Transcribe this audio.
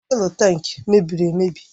Fụ́élú tankị mebiri emebi